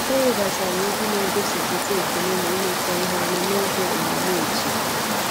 O webatara egwu na-egosipụta ekele na imekọ ihe ọnụ n'oge omume otu